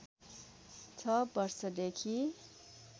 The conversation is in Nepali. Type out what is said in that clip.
६ वर्षदेखि